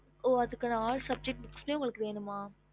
ஹம்